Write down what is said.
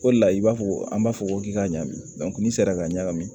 O de la i b'a fɔ an b'a fɔ ko k'i ka ɲagami n'i sera ka ɲagami